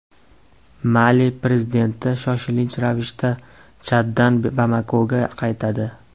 Mali prezidenti shoshilinch ravishda Chaddan Bamakoga qaytadi.